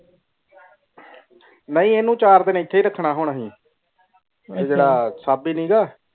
ਨਾਈ ਖਿਨੁ ਚਾਰ ਦਿਨ ਐਥੇ ਹੀ ਰੱਖਣਾ ਅਸੀਂ ਜੇਰਾ ਛਾਬੇ ਨਿਗਾ